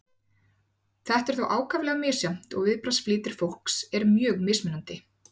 Þetta er þó ákaflega misjafnt og viðbragðsflýtir fólks er mjög mismunandi.